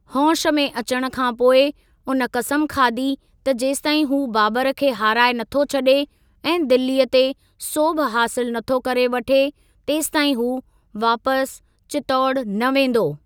होंश में अचण खां पोइ उन कसम खादी त जेसिताईं हू बाबर खे हाराए नथो छॾे ऐं दिल्लीअ ते सोभ हासिल नथो करे वठे, तेसिताईं हू वापिस चित्तौड़ न वेंदो।